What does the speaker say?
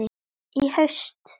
Í haust?